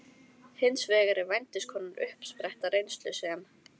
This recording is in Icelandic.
Hins vegar er vændiskonan uppspretta reynslu sem